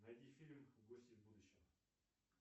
найди фильм гости из будущего